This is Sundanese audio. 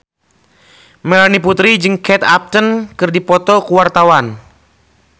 Melanie Putri jeung Kate Upton keur dipoto ku wartawan